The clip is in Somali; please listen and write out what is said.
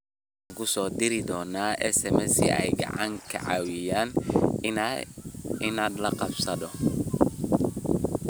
Waxaan kuu soo diri doonaa SMS si ay kaaga caawiyaan inaad la qabsato."